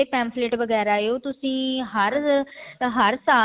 pamphlet ਵਗੇਰਾ ਹਾ ਉਹ ਤੁਸੀਂ ਹਰ ਹਰ ਸਾਲ